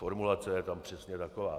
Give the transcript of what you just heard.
Formulace je tam přesně taková.